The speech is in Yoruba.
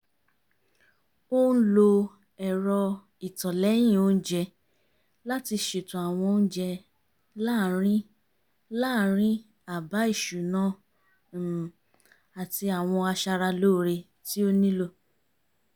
ó ń lo ẹ̀rọ ìtọ̀lẹ́yìn oúnjẹ láti ṣètò àwọn oúnjẹ láàrín láàrín àbá ìṣúná um àti àwọn aṣara lóore tí ó nílò